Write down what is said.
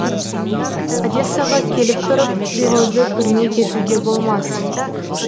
одессаға келіп тұрып привозды көрмей кетуге болмас